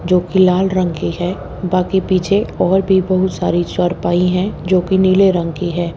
जोकि लाल रंग की है बाकी पीछे और भी बहुत सारी चारपाई हैं जोकि नीले रंग की है।